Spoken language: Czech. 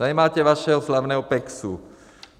Tady máte vašeho slavného Peksu.